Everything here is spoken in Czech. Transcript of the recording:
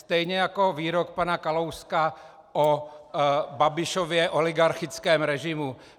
Stejně jako výrok pana Kalouska o Babišově oligarchickém režimu.